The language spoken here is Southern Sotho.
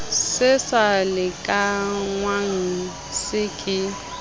se sa lekanngwang se ke